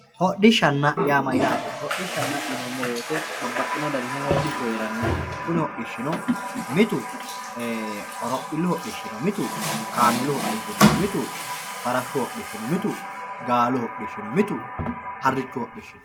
hodhishshaanna yaa mayyaate hodhishshanna yineemmo woyte babbaxxino danihu hodhishshu hee'ranno kuni hodhishshino mitu horophillu hodhishshi no mitu kaameelu hodhishshi no mitu mitu farashu hodhishshi no mitu gaalu hoshshsi no